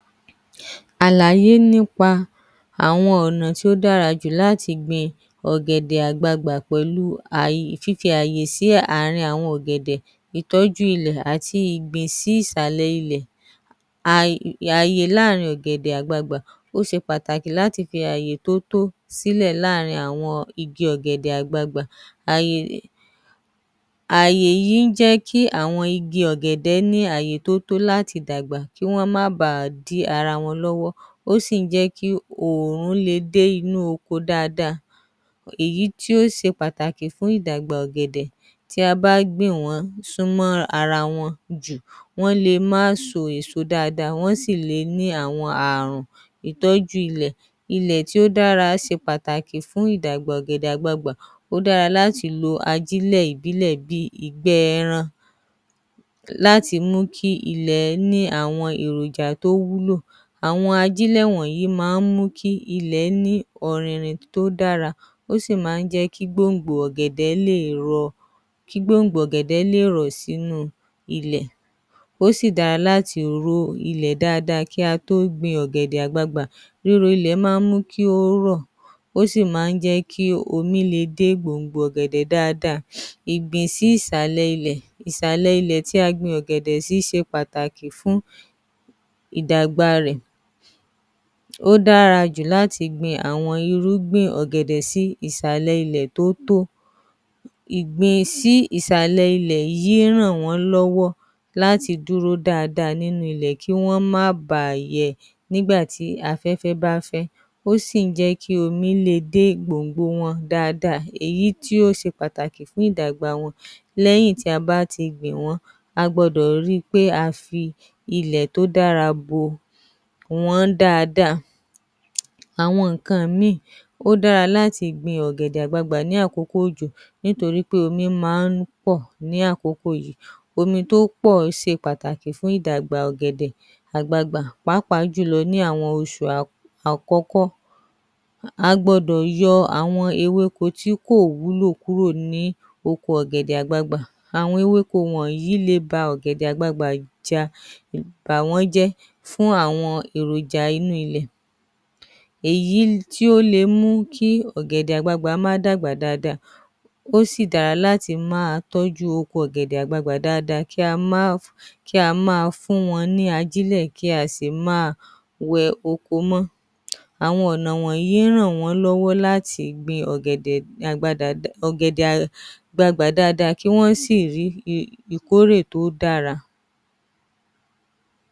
‎Àlàyé nípa àwọn Ọnà tí ó dára jù láti gbin ọ̀gẹ̀dẹ̀ àgbààgbà pẹ̀lú fífi àyè sí àwọn ọ̀gẹ̀dẹ̀, ìtọ́jú ilẹ̀ àti ìgbìn sí ìsàlẹ̀ ilẹ̀, ààyè láàrin ọ̀gẹ̀dẹ̀ àgbààgbà, ó ṣe pàtàkì láti fi àyè tó tó sílẹ̀ láàrin àwọn igi ọ̀gẹ̀dẹ̀ àgbààgbà, ààyè yìí ń jẹ́ kí àwọn igi ọ̀gẹ̀dẹ̀ ní àyè tó tó láti dàgbà kí Wọ́n má báà dí ara wọn lọ́wọ́ ó sì ń jẹ́ kí ààyè le dé inú oko dáadáa, èyí tí ó ṣe pàtàkì fún ìdàgbà ọ̀gẹ̀dẹ̀, tí a bá gbìn wọ́n sún mọ́ ara wọn jù wọ́n le má so èso dáadáa wọ́n le má so èso dáadáa wọ́n sì le ní Ààrùn ‎Ìtọ́ju ilẹ̀ :ilẹ̀ tó dára ṣe pàtàkì fún ìdàgbà ọ̀gẹ̀dẹ̀ àgbààgbà, ó dára láti lo ajílẹ̀ ìbílẹ̀ bíi ìgbẹ́ ẹran láti mú kí ilẹ̀ ní àwọn èròjà tó wúlò, àwọn ajílẹ̀ wọ̀nyí máa mú kí ilẹ̀ ní ọ̀rìnrìn tó dára ó sì máa ń jẹ́ kí gbòǹgbò ọ̀gẹ̀dẹ̀ lè rọ̀ sínú ilẹ̀, ó sì dára láti ró ilẹ̀ dáadáa kí a tó gbìn ọ̀gẹ̀dẹ̀ àgbaagbà, ooru ilẹ̀ máa ń mú kí ó rọ̀ ó sì máa jẹ́ kí omi le dé gbòǹgbò ọ̀gẹ̀dẹ̀ dáadáa, ìgbìn sí ìsàlẹ̀ ilẹ̀, ìsàlẹ̀ ilẹ̀ tí a gbin ọ̀gẹ̀dẹ̀ sí ṣe pàtàkì fún ìdàgbà rẹ, ó dára jù láti gbin àwọn irúgbìn ọ̀gẹ̀dẹ̀ sí ìsàlẹ̀ ilẹ̀ tó tó, ìgbìn sí ìsàlẹ̀ ilẹ̀ yìí ń ràn wọ́n lọ́wọ́ láti dúró dáadáa nínú ilẹ̀ kí Wọ́n má baà yẹ nígbà tí afẹ́fẹ́ bá fẹ́, tó sì ń jẹ́ kí omi le dé gbòǹgbò wọn dáadáa èyí tí ó ṣe pàtàkì fún ìdàgbà wọn lẹ́yìn tí a bá ti gbìn wọ́n a gbọdọ̀ ríi pé a fi ilẹ̀ tó dára bò wọ́n dáadáa, àwọn nǹkan míì, ó dára láti gbìn ọ̀gẹ̀dẹ̀ àgbaagbà lákòókò òjò, nítorí pé omi máa ń pọ̀ ní àkókò yìí, omi tó pọ̀ ṣe pàtàkì fún ìdàgbà ọ̀gẹ̀dẹ̀ àgbaagbà pàápàá ní àwọn oṣù àkọ́kọ́ a gbọ́dọ̀ yọ àwọn ewéko tí kò wúlò fún ọ̀gẹ̀dẹ̀ àgbaagbà, àwọn ewéko wọ̀nyí lè ba ọ̀gẹ̀dẹ̀ àgbaagbà ja bà wọ́n jẹ́ fún àwọn èròjà inú ilẹ̀, èyí tí ó le mú kí ọ̀gẹ̀dẹ̀ àgbagbà má dàgbà dáadáa, ó sì dára kí á máa tọ́jú oko ọ̀gẹ̀dẹ̀ àgbagbà dáadáa, kí a máa fún wọn ní ajílẹ̀ kí á sì máa wẹ oko mọ́, àwọn ọ̀nà yìí ń ràn wọ́n lọ́wọ́ láti gbin ọ̀gẹ̀dẹ̀ àgbaagbà dáadáa kí Wọ́n sì rí ìkórè tó dára.